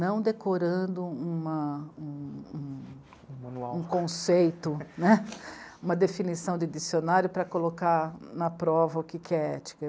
não decorando uma, um, um, um manual, um conceito, uma definição de dicionário para colocar na prova o que é ética.